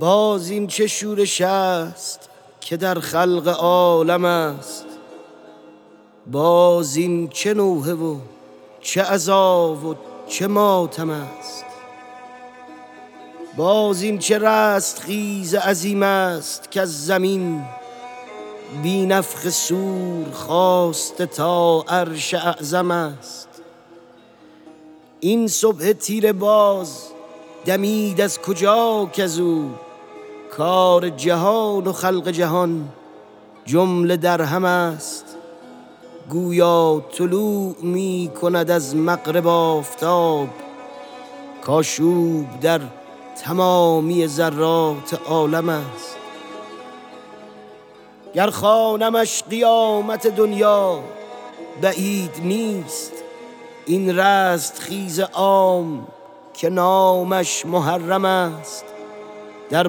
باز این چه شورش است که در خلق عالم است باز این چه نوحه و چه عزا و چه ماتم است باز این چه رستخیز عظیم است کز زمین بی نفخ صور خاسته تا عرش اعظم است این صبح تیره باز دمید از کجا کزو کار جهان و خلق جهان جمله در هم است گویا طلوع می کند از مغرب آفتاب کآشوب در تمامی ذرات عالم است گر خوانمش قیامت دنیا بعید نیست این رستخیز عام که نامش محرم است در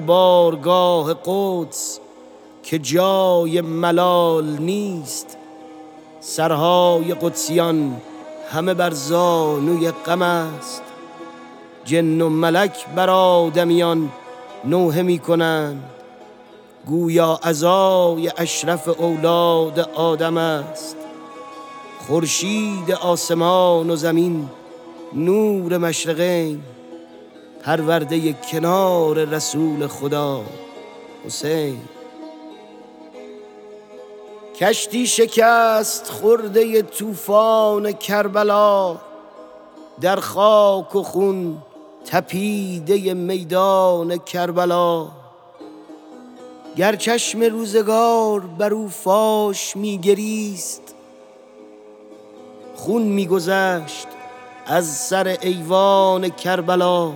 بارگاه قدس که جای ملال نیست سرهای قدسیان همه بر زانوی غم است جن و ملک بر آدمیان نوحه می کنند گویا عزای اشرف اولاد آدم است خورشید آسمان و زمین نور مشرقین پرورده کنار رسول خدا حسین کشتی شکست خورده طوفان کربلا در خاک و خون تپیده میدان کربلا گر چشم روزگار بر او فاش می گریست خون می گذشت از سر ایوان کربلا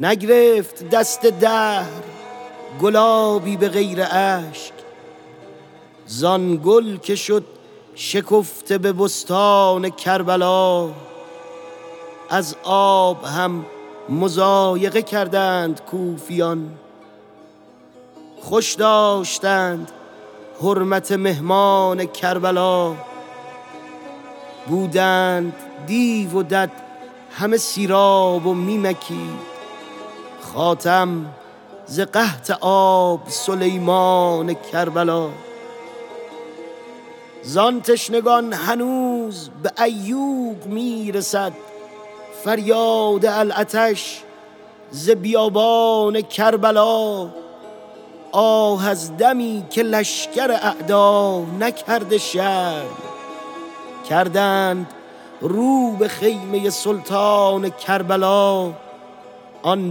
نگرفت دست دهر گلابی به غیر اشک- زآن گل که شد شکفته به بستان کربلا از آب هم مضایقه کردند کوفیان خوش داشتند حرمت مهمان کربلا بودند دیو و دد همه سیراب و می مکید- خاتم ز قحط آب سلیمان کربلا زان تشنگان هنوز به عیوق می رسد فریاد العطش ز بیابان کربلا آه از دمی که لشکر اعدا نکرده شرم کردند رو به خیمه سلطان کربلا آن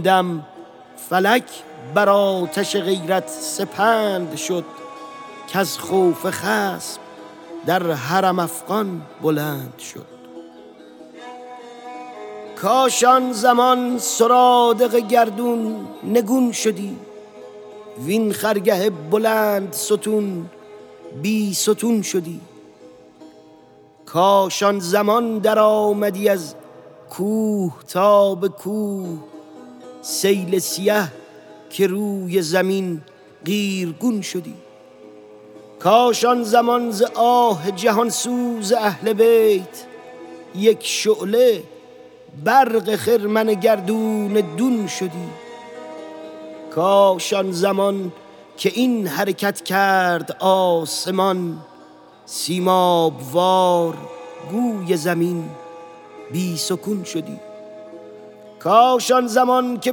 دم فلک بر آتش غیرت سپند شد کز خوف خصم در حرم افغان بلند شد کاش آن زمان سرادق گردون نگون شدی وین خرگه بلندستون بی ستون شدی کاش آن زمان درآمدی از کوه تا به کوه- سیل سیه که روی زمین قیرگون شدی کاش آن زمان ز آه جهان سوز اهل بیت یک شعله برق خرمن گردون دون شدی کاش آن زمان که این حرکت کرد آسمان سیماب وار گوی زمین بی سکون شدی کاش آن زمان که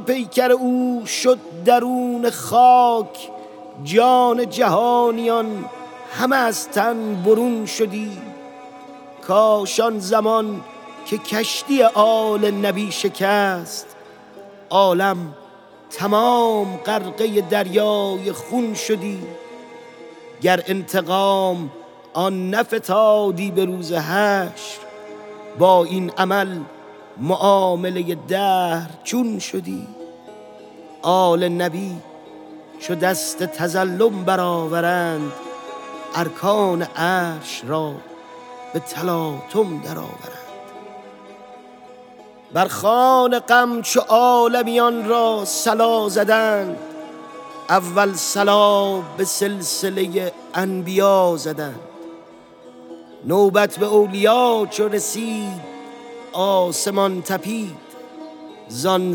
پیکر او شد درون خاک جان جهانیان همه از تن برون شدی کاش آن زمان که کشتی آل نبی شکست عالم تمام غرقه دریای خون شدی گر انتقام آن نفتادی به روز حشر با این عمل معامله دهر چون شدی آل نبی چو دست تظلم برآورند ارکان عرش را به تلاطم درآورند بر خوان غم چو عالمیان را صلا زدند اول صلا به سلسله انبیا زدند نوبت به اولیا چو رسید آسمان تپید زان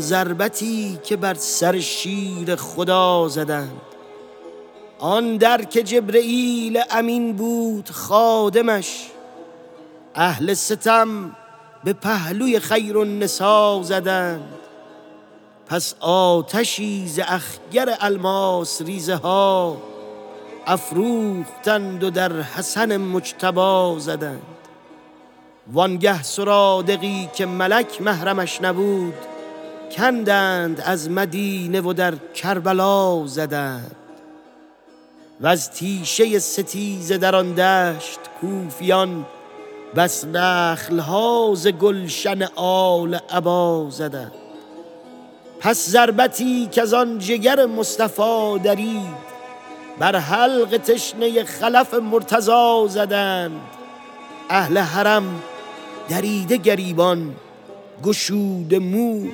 ضربتی که بر سر شیر خدا زدند آن در که جبرییل امین بود خادمش- اهل ستم به پهلوی خیرالنسا زدند پس آتشی ز اخگر الماس ریزه ها افروختند و در حسن مجتبی زدند وانگه سرادقی که ملک محرمش نبود کندند از مدینه و در کربلا زدند وز تیشه ستیزه در آن دشت کوفیان- بس نخل ها ز گلشن آل عبا زدند پس ضربتی کزان جگر مصطفی درید بر حلق تشنه خلف مرتضی زدند اهل حرم دریده گریبان گشوده مو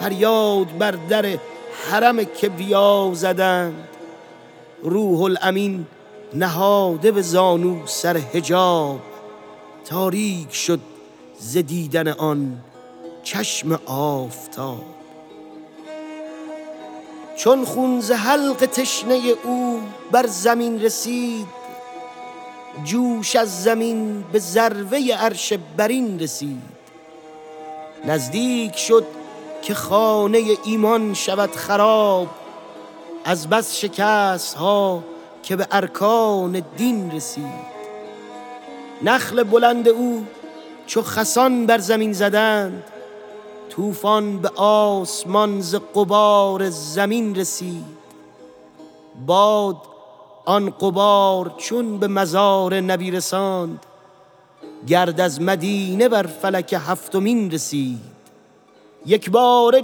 فریاد بر در حرم کبریا زدند روح الامین نهاده به زانو سر حجاب تاریک شد ز دیدن آن چشم آفتاب چون خون ز حلق تشنه او بر زمین رسید جوش از زمین به ذروه عرش برین رسید نزدیک شد که خانه ایمان شود خراب از بس شکست ها که به ارکان دین رسید نخل بلند او چو خسان بر زمین زدند- طوفان به آسمان ز غبار زمین رسید باد آن غبار چون به مزار نبی رساند گرد از مدینه بر فلک هفتمین رسید یکباره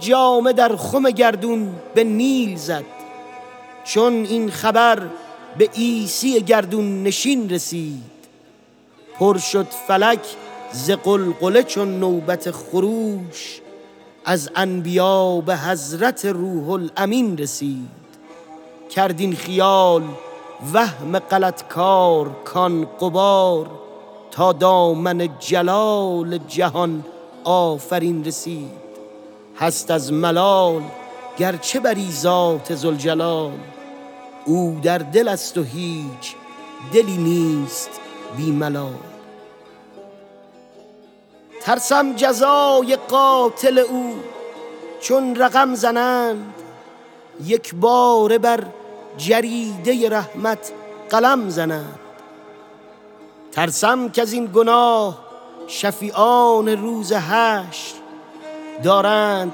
جامه در خم گردون به نیل زد- چون این خبر به عیسی گردون نشین رسید پر شد فلک ز غلغله چون نوبت خروش- از انبیا به حضرت روح الامین رسید کرد این خیال وهم غلط کار کان غبار- تا دامن جلال جهان آفرین رسید هست از ملال گرچه بری ذات ذوالجلال او در دل است و هیچ دلی نیست بی ملال ترسم جزای قاتل او چون رقم زنند یکباره بر جریده رحمت قلم زنند ترسم کزین گناه شفیعان روز حشر دارند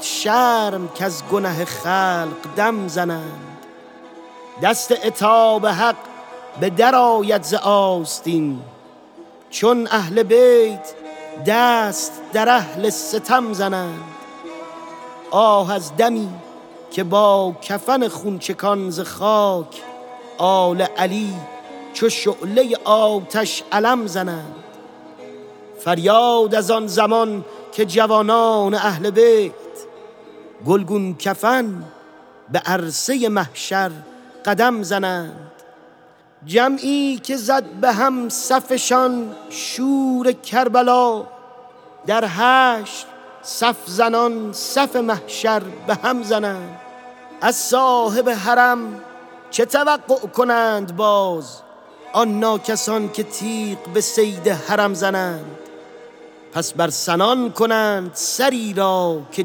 شرم کز گنه خلق دم زنند دست عتاب حق به در آید ز آستین چون اهل بیت دست در اهل ستم زنند آه از دمی که با کفن خون چکان ز خاک آل علی چو شعله آتش علم زنند فریاد از آن زمان که جوانان اهل بیت گلگون کفن به عرصه محشر قدم زنند جمعی که زد بهم صفشان شور کربلا- در حشر صف زنان صف محشر بهم زنند از صاحب حرم چه توقع کنند باز آن ناکسان که تیغ به صید حرم زنند پس بر سنان کنند سری را که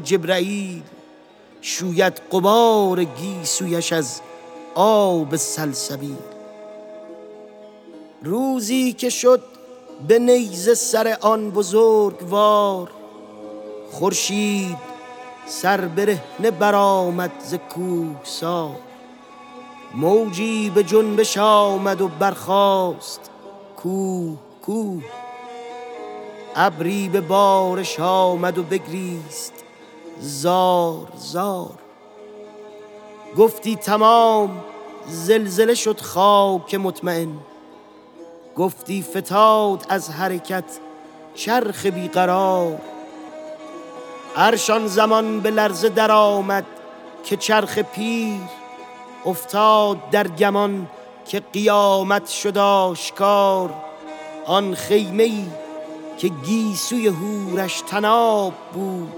جبرییل- شوید غبار گیسویش از آب سلسبیل روزی که شد به نیزه سر آن بزرگوار خورشید سربرهنه برآمد ز کوهسار موجی به جنبش آمد و برخاست کوه کوه ابری به بارش آمد و بگریست زار زار گفتی تمام زلزله شد خاک مطمین گفتی فتاد از حرکت چرخ بی قرار عرش آن زمان به لرزه درآمد که چرخ پیر افتاد در گمان که قیامت شد آشکار آن خیمه ای که گیسوی حورش طناب بود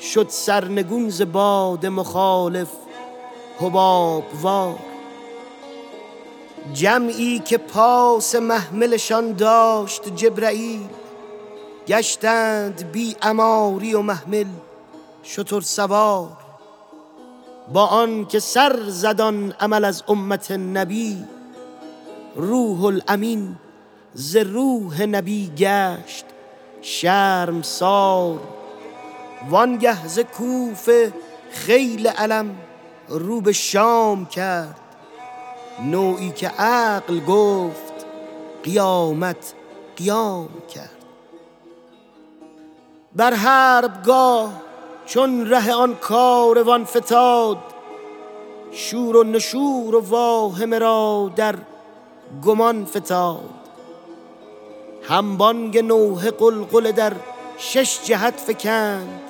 شد سرنگون ز باد مخالف حباب وار جمعی که پاس محملشان داشت جبرییل گشتند بی عماری و محمل شترسوار با آن که سر زد آن عمل از امت نبی روح الامین ز روح نبی گشت شرمسار وانگه ز کوفه خیل الم رو به شام کرد نوعی که عقل گفت قیامت قیام کرد بر حربگاه چون ره آن کاروان فتاد شور و نشور و واهمه را در گمان فتاد هم بانگ نوحه غلغله در شش جهت فکند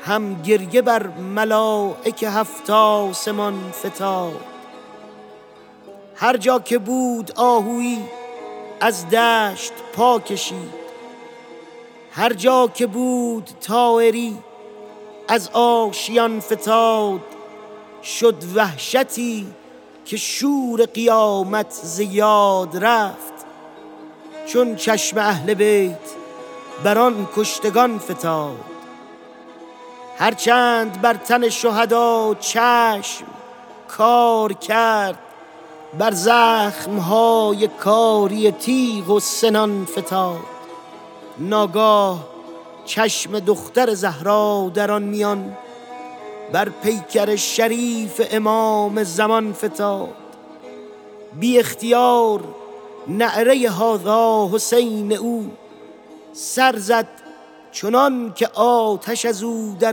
هم گریه بر ملایک هفت آسمان فتاد هرجا که بود آهویی از دشت پا کشید هرجا که بود طایری از آشیان فتاد شد وحشتی که شور قیامت ز یاد رفت چون چشم اهل بیت بر آن کشتگان فتاد هرچند بر تن شهدا چشم کار کرد بر زخم های کاری تیغ و سنان فتاد ناگاه چشم دختر زهرا در آن میان بر پیکر شریف امام زمان فتاد بی اختیار نعره هذا حسین او- -سر زد چنانکه آتش از او در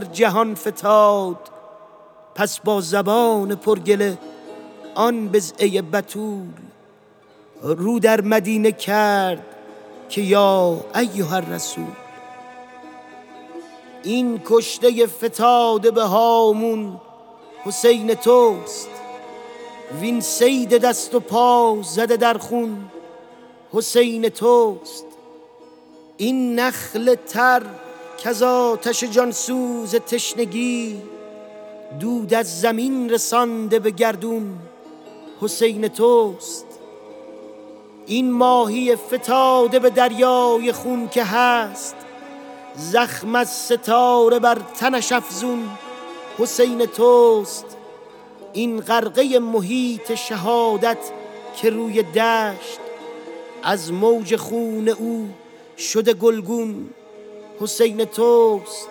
جهان فتاد پس با زبان پر گله آن بضعه بتول رو در مدینه کرد که یا ایهاالرسول این کشته فتاده به هامون حسین توست وین صید دست و پا زده در خون حسین توست این نخل تر کز آتش جان سوز تشنگی دود از زمین رسانده به گردون حسین توست این ماهی فتاده به دریای خون که هست- زخم از ستاره بر تنش افزون حسین توست این غرقه محیط شهادت که روی دشت- از موج خون او شده گلگون حسین توست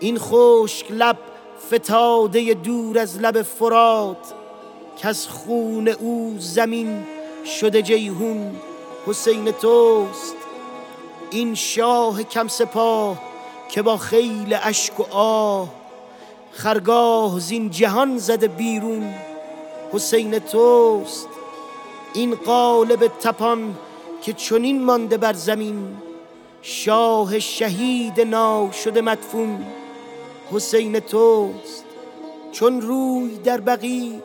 این خشک لب فتاده دور از لب فرات کز خون او زمین شده جیحون حسین توست این شاه کم سپاه که با خیل اشک و آه خرگاه زین جهان زده بیرون حسین توست این قالب تپان که چنین مانده بر زمین شاه شهید ناشده مدفون حسین توست چون روی در بقیع به زهرا خطاب کرد وحش زمین و مرغ هوا را کباب کرد کای مونس شکسته دلان حال ما ببین ما را غریب و بی کس و بی آشنا ببین اولاد خویش را که شفیعان محشرند در ورطه عقوبت اهل جفا ببین در خلد بر حجاب دو کون آستین فشان واندر جهان مصیبت ما بر ملا ببین نی نی برآ چو ابر خروشان به کربلا طغیان سیل فتنه و موج بلا ببین تن های کشتگان همه در خاک و خون نگر سرهای سروران همه بر نیزه ها ببین آن سر که بود بر سر دوش نبی مدام یک نیزه اش ز دوش مخالف جدا ببین آن تن که بود پرورشش در کنار تو غلتان به خاک معرکه کربلا ببین یا بضعةالرسول ز ابن زیاد داد کو خاک اهل بیت رسالت به باد داد خاموش محتشم که دل سنگ آب شد بنیاد صبر و خانه طاقت خراب شد خاموش محتشم که از این حرف سوزناک مرغ هوا و ماهی دریا کباب شد خاموش محتشم که از این شعر خون چکان در دیده اشک مستمعان خون ناب شد خاموش محتشم که از این نظم گریه خیز روی زمین به اشک جگرگون کباب شد خاموش محتشم که فلک بسکه خون گریست- دریا هزار مرتبه گلگون حباب شد خاموش محتشم که به سوز تو آفتاب از آه سرد ماتمیان ماهتاب شد خاموش محتشم که ز ذکر غم حسین جبریل را ز روی پیمبر حجاب شد تا چرخ سفله بود خطایی چنین نکرد بر هیچ آفریده جفایی چنین نکرد ای چرخ غافلی که چه بیداد کرده ای وز کین چه ها درین ستم آباد کرده ای بر طعنت این بس است که با عترت رسول- بیداد کرده خصم و تو امداد کرده ای ای زاده زیاد نکردست هیچ گه- نمرود این عمل که تو شداد کرده ای کام یزید داده ای از کشتن حسین بنگر که را به قتل که دل شاد کرده ای بهر خسی که بار درخت شقاوتست در باغ دین چه با گل و شمشاد کرده ای با دشمنان دین نتوان کرد آن چه تو با مصطفی و حیدر و اولاد کرده ای حلقی که سوده لعل لب خود نبی بر آن آزرده اش به خنجر بیداد کرده ای ترسم تو را دمی که به محشر برآورند از آتش تو دود به محشر درآورند